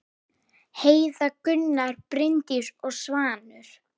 Heiða, Gunnar, Bryndís og Svanur.